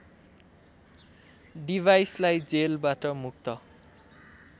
डिभाइसलाई जेलबाट मुक्त